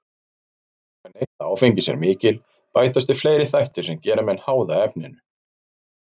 Þegar neysla áfengis er mikil bætast við fleiri þættir sem gera menn háða efninu.